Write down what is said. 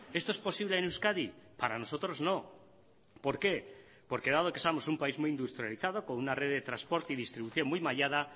esto es posible en euskadi para nosotros no por qué porque dado que somos un país muy industrializado con una red de transporte y distribución muy mallada